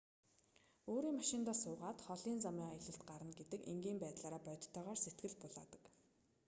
өөрийн машиндаа суугаад холын замын аялалд гарна гэдэг энгийн байдлаараа бодитойгоор сэтгэл булаадаг